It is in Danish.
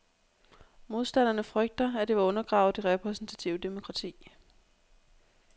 Modstanderne frygter, at det vil undergrave det repræsentative demokrati.